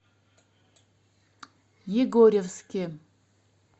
егорьевске